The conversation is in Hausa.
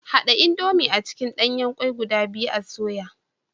Hada indomie a cikin danyen kwai guda biyu a soya.